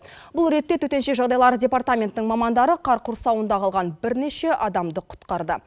бұл ретте төтенше жағыдай департаментінің мамандары қар құрсауында қалған бірнеше адамды құтқарды